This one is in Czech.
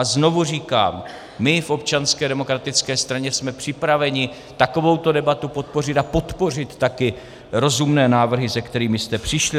A znovu říkám, my v Občanské demokratické straně jsme připraveni takovouto debatu podpořit a podpořit také rozumné návrhy, se kterými jste přišli.